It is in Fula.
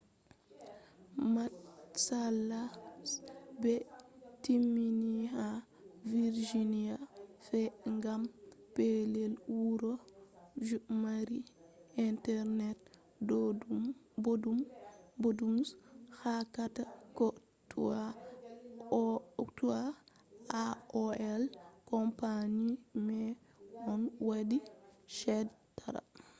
matsala je ɓe timmini ha virginia fe’i gam pellel wuro je mari internet boɗɗum je hokkata ko toi aol company mai on waɗi chede tara